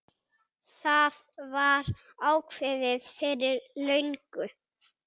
Það var ákveðið fyrir löngu.